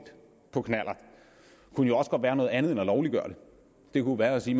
på knallert kunne også være noget andet end at lovliggøre det det kunne være at sige